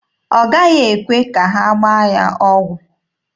Ọ gaghị ekwe ka ha gbaa ya ọgwụ.